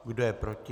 Kdo je proti?